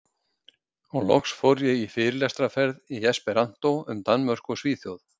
Og loks fór ég fyrirlestraferð í esperanto um Danmörku og Svíþjóð.